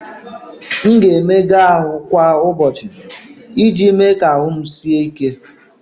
M ga-emega ahụ kwa ụbọchị iji mee ka ahụ m sie ike.